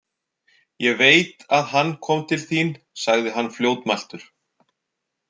Ég veit að hann kom til þín, sagði hann fljótmæltur.